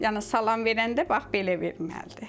Yəni salam verəndə bax belə verməlidir.